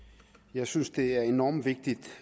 jeg synes det er enormt vigtigt